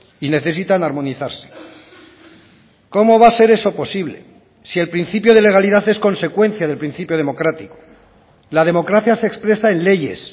y necesitan armonizarse cómo va a ser eso posible si el principio de legalidad es consecuencia del principio democrático la democracia se expresa en leyes